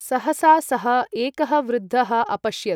सहसा सःएकः वृद्धः अपश्यत्।